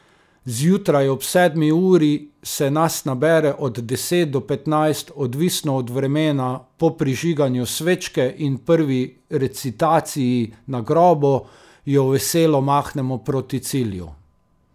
Zjutraj ob sedmi uri se nas nabere od deset do petnajst, odvisno od vremena, po prižiganju svečke in prvi recitaciji na grobu jo veselo mahnemo proti cilju.